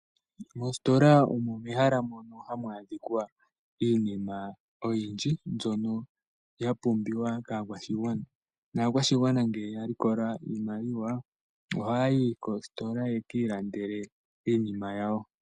Mositola omo mehala mono hamu adhikwa iinima oyindji mbyono yapumbwiwa kakwashingwana , nakwashingwana ngele yalikola iimaliwa ohayi kostola yekilandele iinima yawo.